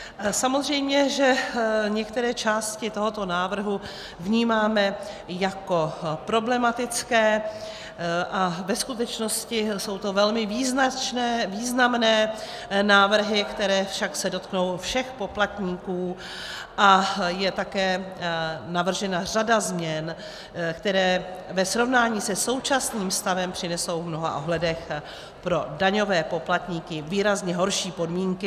Samozřejmě že některé části tohoto návrhu vnímáme jako problematické, a ve skutečnosti jsou to velmi významné návrhy, které se však dotknou všech poplatníků, a je také navržena řada změn, které ve srovnání se současným stavem přinesou v mnoha ohledech pro daňové poplatníky výrazně horší podmínky.